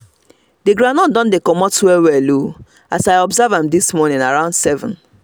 the groundnut don dey comot well well o as i observe am this morning around seven